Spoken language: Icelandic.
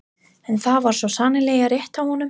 En það var svo sannarlega rétt hjá honum.